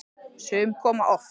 Sum koma oft.